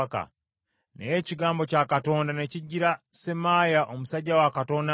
Naye ekigambo kya Katonda ne kijjira Semaaya omusajja wa Katonda nti,